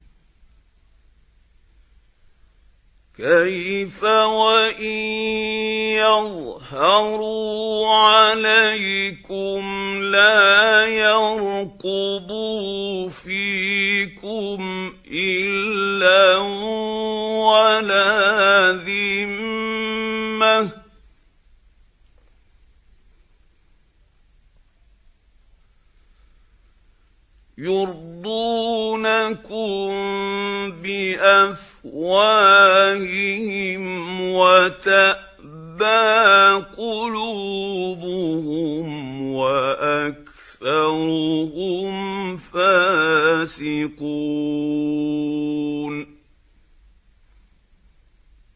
كَيْفَ وَإِن يَظْهَرُوا عَلَيْكُمْ لَا يَرْقُبُوا فِيكُمْ إِلًّا وَلَا ذِمَّةً ۚ يُرْضُونَكُم بِأَفْوَاهِهِمْ وَتَأْبَىٰ قُلُوبُهُمْ وَأَكْثَرُهُمْ فَاسِقُونَ